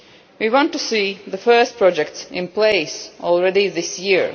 We want to see the first projects in place this year.